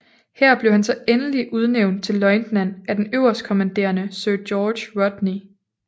Her blev han så endeligt udnævnt til løjtnant af den øverstkommanderende Sir George Rodney